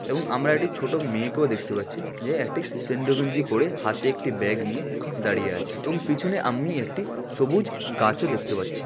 এবং আমরা একটি ছোট মেয়েকেও দেখতে পাচ্ছি। যে একটি সেন্ডো গেঞ্জি পরে হাতে একটি ব্যাগ নিয়ে দাঁড়িয়ে আছে এবং পিছনে আমি একটি সবুজ গাছ ও দেখতে পাচ্ছি।